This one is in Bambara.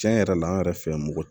Cɛn yɛrɛ la an yɛrɛ fɛ yan moto